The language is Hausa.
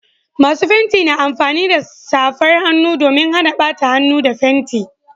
Masu fenti na amfani da safar hannu domin Hana bata hannu da fenti